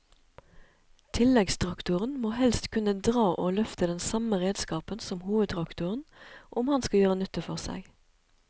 Tilleggstraktoren må helst kunne dra og løfte den samme redskapen som hovedtraktoren om han skal gjøre nytte for seg.